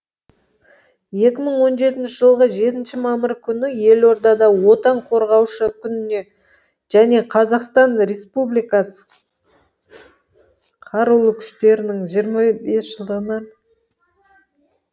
екі мың он жетінші жылғы жетінші мамыр күні елордада отан қорғаушы күніне және қазақстан республикасы қарулы күштерінің жиырмы бес жылдығына